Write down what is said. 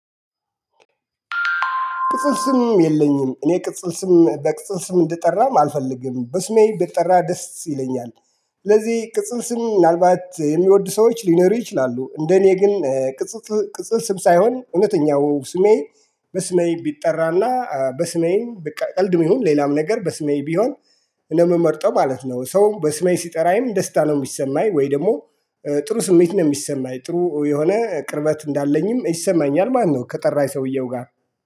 ቅጽል ስም የለኝም እኔ ቅጽል ስም በቅጽል ስም እንደጠራም አልፈልግም በስሜ ብጠራ ደስ ይለኛል። ስለዚህ ቅጽል ስም ምናልባት የሚወዱ ሰዎች ሊኖሩ ይችላሉ። እንደኔ ግን ቅጽከስም ሳይሆን እውነተኛው ስሜ። በስሜ ብጠራና በስሜ በቃ ቀልድም ይሁን ሌላም ነገር በስሜ ቢሆን ነው ምመርጠው ማለት ነው። ሰው በስሜ ሲጠራኝም ደስታ ነው የሚሰማኝ ወይ ደግሞ ጥሩ ስሜት ነው የሚሰማኝ ጥሩ የሆነ ቅርበት እንዳለኝም ይሰማኛል ማለት ነው። ከጠራኝ ሰውየው ጋር